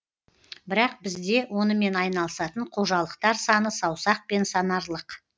бірақ бізде онымен айналысатын қожалықтар саны саусақпен санарлық